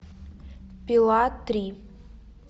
пила три